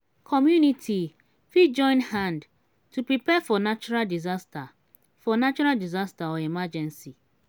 community fit join hand to prepare for natural disaster for natural disaster or emergency